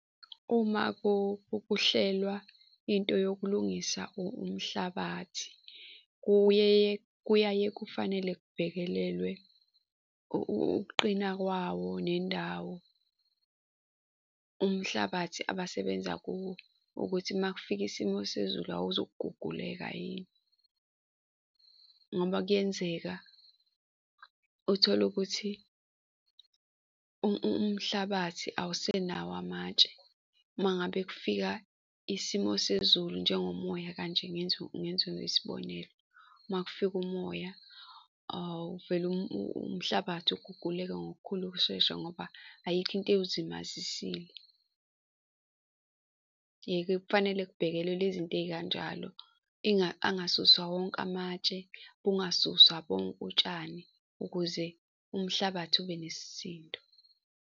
Uma kuhlelwa into yokulungisa umhlabathi, kuye kuyaye kufanele kubhekelelwe ukuqina kwawo nendawo umhlabathi abasebenza kuwo ukuthi uma kufika isimo sezulu awuzukuguguleka yini. Ngoba kuyenzeka uthole ukuthi umhlabathi awusenayo amatshe. Uma ngabe kufika isimo sezulu njengomoya kanje ngenze ngenze ngesibonelo, uma kufika umoya uvele umhlabathi ukuguguleka ngokukhulu ukushesha ngoba ayikho into ewuzimazisile. Eh-ke kufanele kubhekelelwe izint ey'kanjalo angasuswa wonke amatshe, kungasuswa bonke utshani ukuze umhlabathi ube nesisindo.